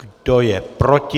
Kdo je proti?